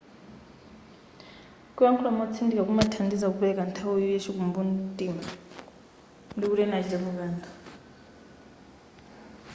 kuyakhula motsindika kumathandiza kupeleka nthawi yachikumbu mtima ndikuti ena achitepo kanthu